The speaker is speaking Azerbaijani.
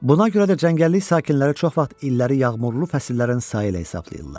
Buna görə də cəngəllik sakinləri çox vaxt illəri yağmurlu fəsillərin sayı ilə hesablayırlar.